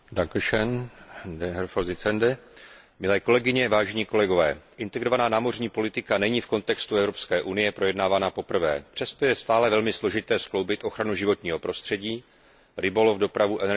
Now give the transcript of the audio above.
Integrovaná námořní politika není v kontextu Evropské unie projednávaná poprvé, přesto je stále velmi složité skloubit ochranu životního prostředí, rybolov, dopravu, energetiku, průmysl, vědu a výzkum a zasadit různé aspekty rozvoje do jednotného plánu.